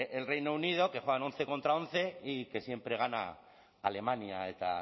el reino unido que juegan once contra once y que siempre gana alemania eta